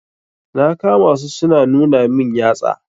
Na kama su su na nuna min yatsa.